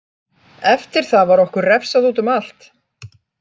Eftir það var okkur refsað útum allt.